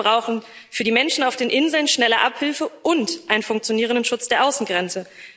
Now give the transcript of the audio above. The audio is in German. Wir brauchen für die Menschen auf den Inseln schnelle Abhilfe und einen funktionierenden Schutz der Außengrenzen.